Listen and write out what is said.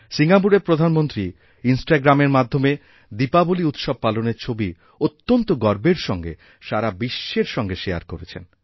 সিঙ্গাপুরের প্রধানমন্ত্রী ইনস্টাগ্রামের মাধ্যমে দীপাবলী উৎসব পালনের ছবি অত্যন্তগর্বের সঙ্গে সারা বিশ্বের সঙ্গে শেয়ার করেছেন